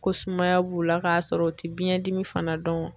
Ko sumaya b'u la k'a sɔrɔ u tɛ biɲɛdimi fana dɔn.